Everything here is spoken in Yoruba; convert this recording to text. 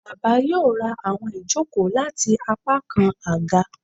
Baba yoo ra awọn ijoko lati apakan aga